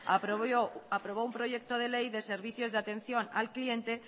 aprobó un proyecto de ley de servicios de atención al cliente